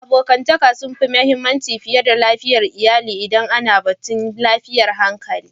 Abokantaka sun fi mahimmanci fiye da dangantakar iyali idan ana batun lafiyar hankali.